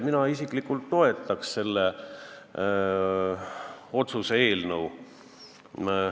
Mina isiklikult toetaks seda otsuse eelnõu.